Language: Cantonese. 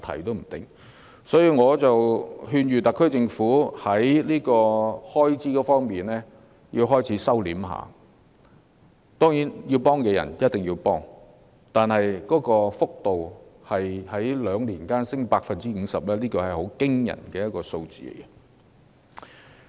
因此，我勸諭特區政府應該開始控制開支，當然必須協助有需要的人，但撥款在兩年間增加 50%， 是十分驚人的數字。